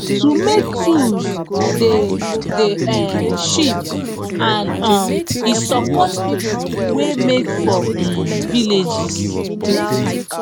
to make tools dey dey um cheap and um e support people wey make for um villages